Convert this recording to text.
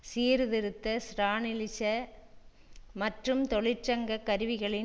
சீர்திருத்த ஸ்ரானிலிச மற்றும் தொழிற்சங்க கருவிகளின்